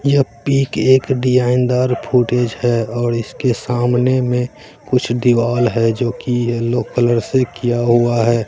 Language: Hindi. यह पिक एक डिजाइन दार फुटेज है और इसके सामने में कुछ दीवाल है जोकि येलो कलर से किया हुआ है।